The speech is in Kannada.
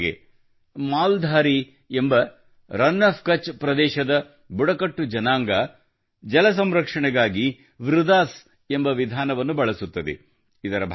ಉದಾಹರಣೆಗೆ ಮಾಲ್ ಧಾರಿ ಎಂಬ ರಾನ್ ಒಎಫ್ ಕಚ್ ನಲ್ಲಿನ ಬುಡಕಟ್ಟು ಪ್ರದೇಶದ ಜನಾಂಗವು ಜಲ ಸಂರಕ್ಷಣೆಗಾಗಿ ವೃದಾಸ್ ಎಂಬ ವಿಧಾನವನ್ನು ಬಳಸುತ್ತದೆ